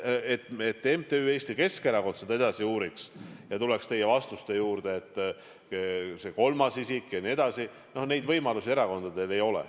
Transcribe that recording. Et MTÜ Eesti Keskerakond seda edasi uuriks ja tuleks teie vastuste juurde, see kolmas isik jne – no selliseid võimalusi erakondadel ei ole.